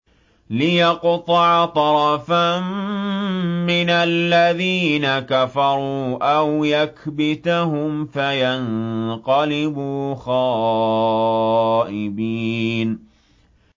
لِيَقْطَعَ طَرَفًا مِّنَ الَّذِينَ كَفَرُوا أَوْ يَكْبِتَهُمْ فَيَنقَلِبُوا خَائِبِينَ